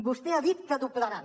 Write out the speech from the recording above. vostè ha dit que doblaran